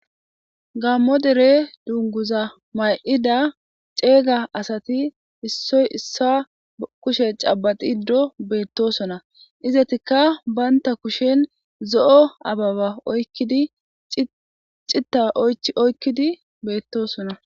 Gammo dere dunguza may'id ceega asati issoy issa kushe cabaxiddo beettosona izatikka baynta kushen zo'o ababa oyidi cita c oykkidi beettosona.